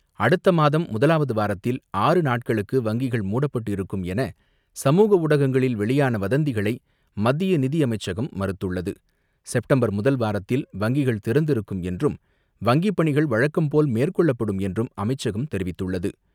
அடுத்த வாரம் முதல் வாரத்தில் ஆறு நாட்கள் வங்கிகள் மூடப்படும் என சமூக ஊடகங்களில் வெளியாகிய வதந்திகளை மத்திய நிதி அமைச்சகம் மறுத்துள்ளது. செப்டம்பர் முதல் வாரத்தில் வங்கிகள் திறந்து இருக்கும் என்றும் வங்கிப் பணிகள் வழங்கும் போல் மேற்கொள்ளப்படும் என்றும் அமைச்சகம் தெரிவித்துள்ளது.